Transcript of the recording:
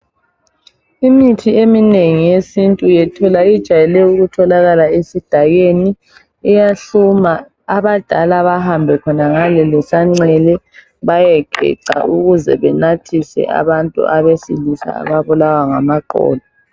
Imithi eminengi yesintu, yethola ijayele ukutholakala esidakeni. Iyahluma abadala bahambe khonangale lesancele bayegeca, ukuzi benathise abantu abesilisa ababulwa ngamaqolo.